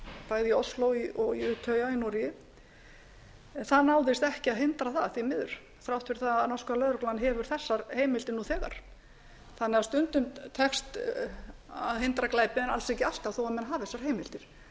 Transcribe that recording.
bæði í ósló og í útey í noregi en það náðist ekki að hindra það því miður þrátt fyrir það að norska lögreglan hefur þessar heimildir nú þegar stundum tekst að hindra glæpi en alls ekki alltaf þó menn hafi þessar heimildir